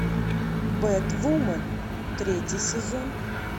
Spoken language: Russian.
бэтвумен третий сезон